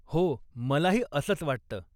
हो, मलाही असंच वाटतं.